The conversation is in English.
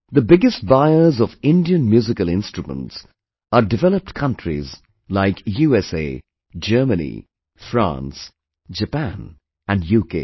The biggest buyers of Indian Musical Instruments are developed countries like USA, Germany, France, Japan and UK